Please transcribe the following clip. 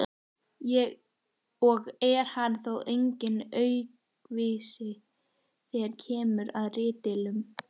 og er hann þó enginn aukvisi þegar kemur að ritdeilum.